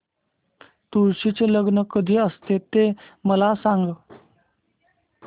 तुळशी चे लग्न कधी असते ते मला सांग